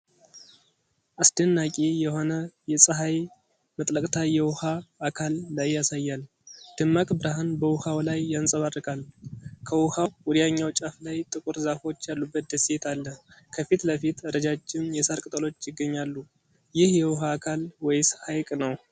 አስደናቂ የሆነ የፀሐይ መጥለቅታ የውሃ አካል ላይ ያሳያል። ደማቅ ብርሃን በውሃው ላይ ያንፀባርቃል። ከውኃው ወዲያኛው ጫፍ ላይ ጥቁር ዛፎች ያሉበት ደሴት አለ። ከፊት ለፊት ረጃጅም የሳር ቅጠሎች ይገኛሉ። ይህ የውሃ አካል ወይስ ሐይቅ ነው?